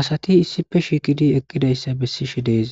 Asat issippe shiqid eqidaysa besishe de'es,